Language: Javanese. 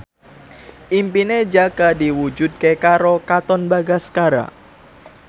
impine Jaka diwujudke karo Katon Bagaskara